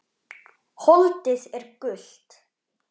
Holdið er gult.